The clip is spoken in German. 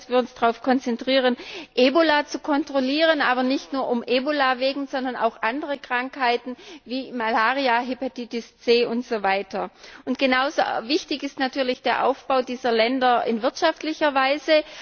Wir müssen uns darauf konzentrieren, Ebola zu kontrollieren, aber nicht nur Ebola, sondern auch andere Krankheiten wie Malaria, Hepatitis C und so weiter. Genauso wichtig ist natürlich der Aufbau dieser Länder in wirtschaftlicher Weise.